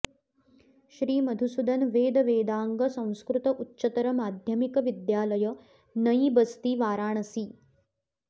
श्री मधुसूदन वेद वेदांग संस्कृत उच्चतर माध्यमिक विद्यालय नईबस्ती वाराणसी